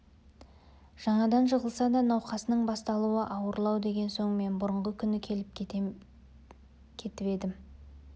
жаңадан жығылса да науқасының басталуы ауырлау деген соң мен бұрнағы күні келіп кетіп едім